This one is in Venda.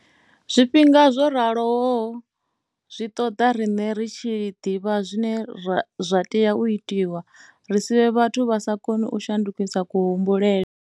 Zwifhinga zwo raloho zwi ṱoḓa riṋe ri tshi ḓivha zwine zwa tea u itwa, ri si vhe vhathu vha sa koni u shandukisi kuhumbulele.